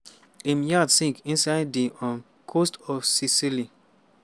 im yacht sink inside di um coast of sicily.